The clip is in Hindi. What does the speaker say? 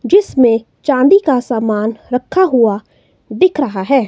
जिसमें चांदी का सामान रखा हुआ दिख रहा है।